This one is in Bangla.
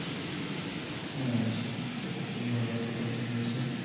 হ্যা। সেটা খুবই ভালো সিদ্ধান্ত নিয়েছেন।